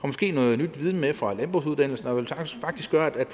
måske noget ny viden med fra landbrugsuddannelsen og det vil faktisk gøre at